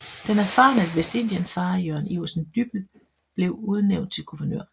Den erfarne vestindienfarer Jørgen Iversen Dyppel blev udnævnt til guvernør